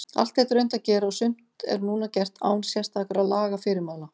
Allt þetta er unnt að gera og sumt er núna gert án sérstakra lagafyrirmæla.